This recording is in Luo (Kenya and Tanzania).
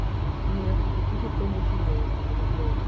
Ng'iyo pikipiki konyo ji ng'eyo timbe mabeyo.